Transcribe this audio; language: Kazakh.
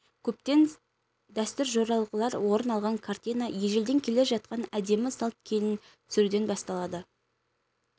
көптеген дәстүр-жоралғылар орын алған картина ежелден келе жатқан әдемі салт келін түсіруден басталады